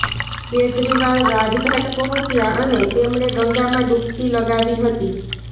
કેજરીવાલ રાજ ઘાટ પહોંચ્યા અને તેમણે ગંગામાં ડુબકી લગાવી હતી